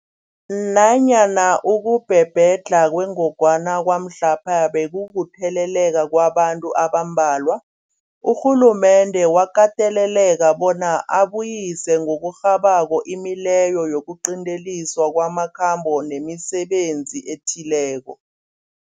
Nanyana ukubhebhedlha kwengogwana kwamhlapha bekukutheleleka kwabantu abambalwa, urhulumende wakateleleka bona abuyise ngokurhabako imileyo yokuqinteliswa kwamakhambo nemisebenzi ethileko.